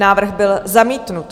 Návrh byl zamítnut.